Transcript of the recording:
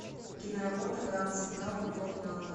киноработа гранд централ любовь на атомы